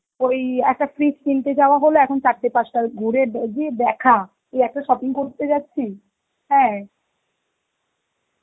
ওই একটা fridge কিনতে যাওয়া হলো এখন চারটে পাঁচটা ঘুরে দ~ দিয়ে দেখা, যে একটা shopping করতে যাচ্ছি, হ্যাঁ